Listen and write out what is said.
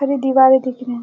हरी दिवारें दिख रही हैं।